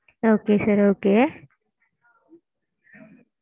okay sir okay.